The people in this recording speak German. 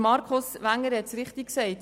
Markus Wenger hat es richtig gesagt: